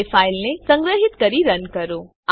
હવે ફાઈલને સંગ્રહીત કરી રન કરો